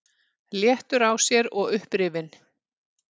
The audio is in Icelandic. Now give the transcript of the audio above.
Léttur á sér og upprifinn.